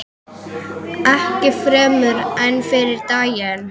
Ekki fremur en fyrri daginn.